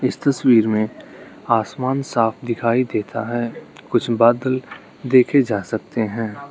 इस तस्वीर में आसमान साफ दिखाई देता है कुछ बादल देखे जा सकते हैं।